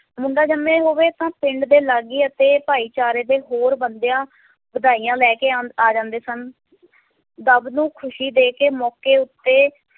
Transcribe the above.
ਮੁੰਡਾ ਜਮਿਆਂ ਹੋਵੇ ਤਾਂ ਪਿੰਡ ਦੇ ਲਾਗੀ ਅਤੇ ਭਾਈਚਾਰੇ ਦੇ ਹੋਰ ਬੰਦਿਆਂ ਵਧਾਈਆਂ ਲੈ ਕੇ ਆ ਆ ਜਾਂਦੇ ਸਨ ਦੁੱਬ ਨੂੰ ਖ਼ਸ਼ੀ ਦੇ ਕੇ ਮੌਕੇ ਉੱਤੇ